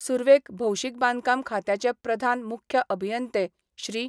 सुरवेक भौशीक बांदकाम खात्याचे प्रधान मुख्य अभियंते श्री.